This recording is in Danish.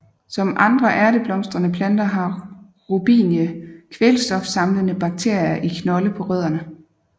Som andre ærteblomstrede planter har Robinie kvælstofsamlende bakterier i knolde på rødderne